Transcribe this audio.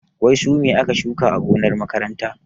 Wai su me aka shuka a gonar makaranta?